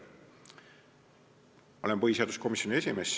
Ma olen põhiseaduskomisjoni esimees.